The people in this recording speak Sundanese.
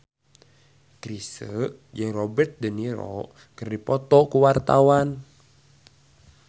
Chrisye jeung Robert de Niro keur dipoto ku wartawan